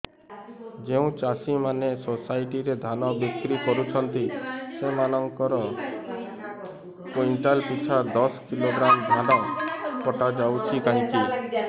ଯେଉଁ ଚାଷୀ ମାନେ ସୋସାଇଟି ରେ ଧାନ ବିକ୍ରି କରୁଛନ୍ତି ସେମାନଙ୍କର କୁଇଣ୍ଟାଲ ପିଛା ଦଶ କିଲୋଗ୍ରାମ ଧାନ କଟା ଯାଉଛି କାହିଁକି